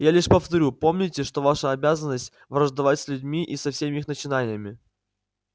я лишь повторю помните что ваша обязанность враждовать с людьми и со всеми их начинаниями